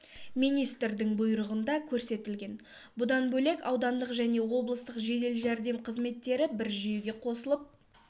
министрдің бұйрығында көрсетілген бұдан бөлек аудандық және облыстық жедел жәрдем қызметтері бір жүйеге қосылып